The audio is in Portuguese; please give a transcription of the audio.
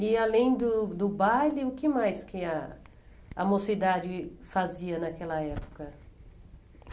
E além do do baile, o que mais a a mocidade fazia naquela época?